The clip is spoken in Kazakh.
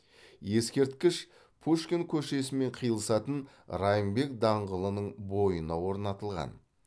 ескерткіш пушкин көшесімен қиылысатын райымбек даңғылының бойына орнатылған